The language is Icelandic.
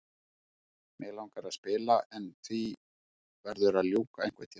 Mig langar að spila en því verður að ljúka einhvern tímann.